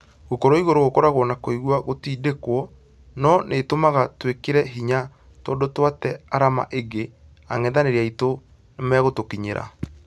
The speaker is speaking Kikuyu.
Gũkorwo igũrũ gũkoragwo na kũigua gũtindĩkwo, nũ ĩtũmaga twĩkĩre hinya tũndũ twate arama ĩnge angethanĩri aitũ nĩmagũtũkinyĩra.